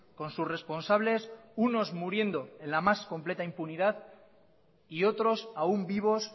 con sus responsables unos muriendo en la más completa impunidad y otros aún vivos